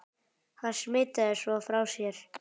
Hann smitaði svo frá sér.